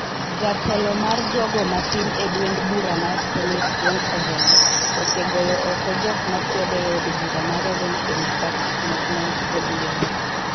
Jatelo mar jogo mathin e duond bura mar Senate, James Orengo, osegoyo oko jok makwede e od bura mar Orange Democratic Movement (ODM),